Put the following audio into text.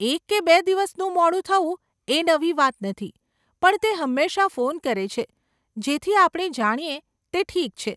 એક કે બે દિવસનું મોડું થવું એ નવી વાત નથી, પણ તે હંમેશા ફોન કરે છે જેથી આપણે જાણીએ તે ઠીક છે.